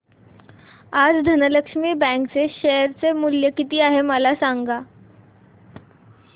आज धनलक्ष्मी बँक चे शेअर चे मूल्य किती आहे मला सांगा